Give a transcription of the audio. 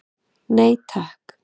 Nei takk.